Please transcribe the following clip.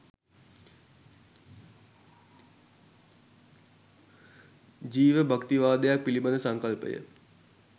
ජීවභක්තිවාදයක් පිළිබඳ සංකල්පය